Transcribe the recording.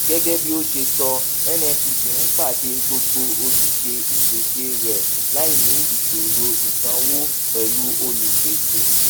gẹgẹ bí ó ṣe sọ nnpc ń pàdé gbogbo ojúṣe ìpèsè rẹ láì ní ìṣòro ìsanwó pẹlú olùpèsè